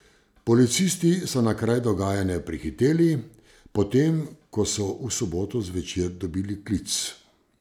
Policisti so na kraj dogajanja prihiteli, potem ko so v soboto zvečer dobili klic.